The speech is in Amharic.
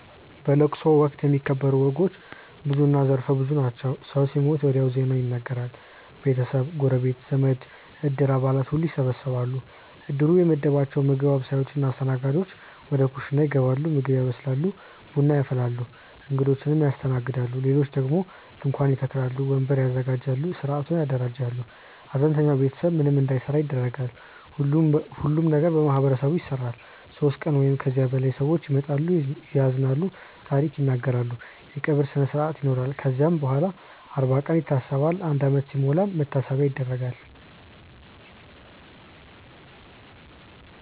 በለቅሶ ወቅት የሚከበሩ ወጎች ብዙና ዘርፈ ብዙ ናቸው። ሰው ሲሞት ወዲያው ዜናው ይነገራል። ቤተሰብ፣ ጎረቤት፣ ዘመድ፣ እድር አባላት ሁሉም ይሰበሰባሉ። እድሩ የመደባቸው ምግብ አብሳዮች እና አስተናጋጆች ወደ ኩሽና ይገባሉ ምግብ ያበስላሉ፣ ቡና ያፈላሉ፣ እንግዶችን ያስተናግዳሉ። ሌሎች ደግሞ ድንኳን ይተክላሉ፣ ወንበር ያዘጋጃሉ፣ ሥርዓቱን ያደራጃሉ። ሐዘንተኛው ቤተሰብ ምንም እንዳይሠራ ይደረጋል። ሁሉም ነገር በማህበረሰቡ ይሰራል። ሦስት ቀን ወይም ከዚያ በላይ ሰዎች ይመጣሉ፣ ያዝናሉ፣ ታሪክ ይናገራሉ። የቀብር ስነስርአት ይኖራል ከዚያም በኋላም አርባ ቀን ይታሰባል፣ አንድ ዓመት ሲሞላም መታሰቢያ ይደረጋል።